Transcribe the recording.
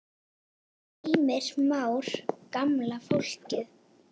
Heimir Már: Gamla fólkið?